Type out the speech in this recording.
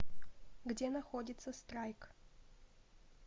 где находится страйк